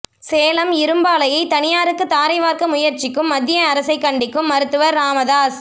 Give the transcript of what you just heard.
சேலம் இரும்பாலையை தனியாருக்கு தாரை வார்க்க முயற்சிக்கும் மத்திய அரசை கண்டிக்கும் மருத்துவர் ராமதாஸ்